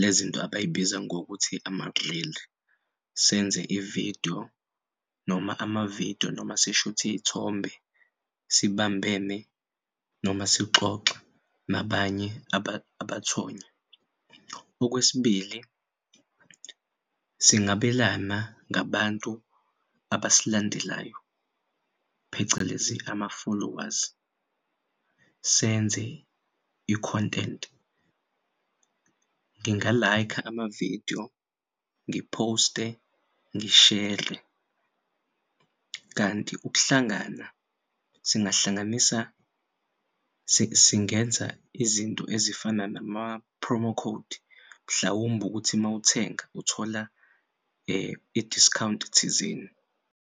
lezinto abayibiza ngokuthi ama-grill senze i-video noma ama-video noma sishuth'iy'thombe sibambene noma sixoxa nabanye abathonya. Okwesibili, singabelana ngabantu abasilandelayo phecelezi ama-followers senze i-content. Nginga-like-a ama-video, ngiphoste, ngishere. Kanti ukuhlangana singenza izinto ezifana nama-promo code mhlawumb'ukuthi mawuthenga uthola i-discount thizeni.